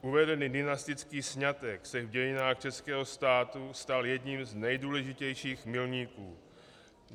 Uvedený dynastický sňatek se v dějinách českého státu stal jedním z nejdůležitějších milníků.